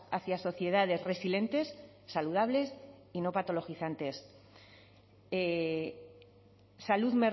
hacia sociedades resilientes saludables y no patologizantes salud